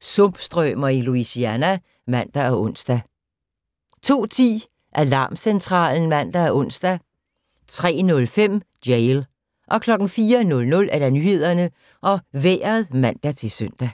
Sumpstrømer i Louisiana (man og ons) 02:10: Alarmcentralen (man og ons) 03:05: Jail 04:00: Nyhederne og Vejret (man-søn)